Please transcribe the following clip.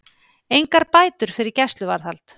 Engar bætur fyrir gæsluvarðhald